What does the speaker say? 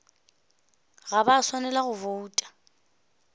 ga ba swanela go bouta